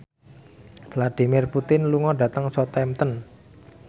Vladimir Putin lunga dhateng Southampton